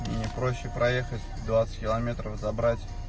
аа проще проехать